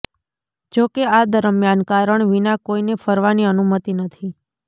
જોકે આ દરમિયાન કારણ વિના કોઈને ફરવાની અનુમતિ નથી